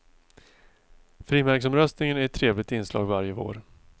Frimärksomröstningen är ett trevligt inslag varje vår.